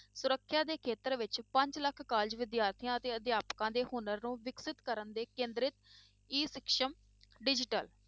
ਸੁਰੱਖਿਆ ਦੇ ਖੇਤਰ ਵਿੱਚ ਪੰਜ ਲੱਖ college ਵਿਦਿਆਰਥੀਆਂ ਅਤੇ ਅਧਿਆਪਕਾਂ ਦੇ ਹੁਨਰ ਨੂੰ ਵਿਕਸਿਤ ਕਰਨ ਤੇ ਕੇਂਦਰਿਤ E ਸਕਸਮ digital